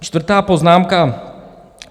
Čtvrtá poznámka.